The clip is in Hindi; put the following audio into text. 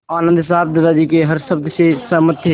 आनन्द साहब दादाजी के हर शब्द से सहमत थे